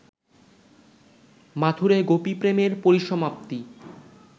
মাথূরে গোপীপ্রেমের পরিসমাপ্তি